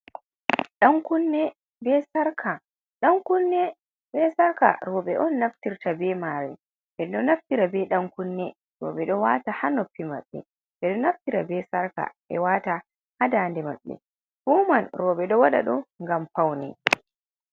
Dan kunne be sarka, Dan kunne be sarka roɓɓe on naftirta be mare, ɓe ɗo naftira be dan kunne roɓɓe ɗo wata ha nnopi maɓɓe, ɓeɗo naftira be sarka ɓe wata ha dande maɓɓe, fu man roɓɓe ɗo waɗa ɗum ngam faune.